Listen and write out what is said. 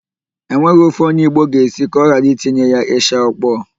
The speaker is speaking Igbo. E nweghị ofe onye Igbo ga-esi ka ọ ghara itinye ya ịsha ọkpọọ.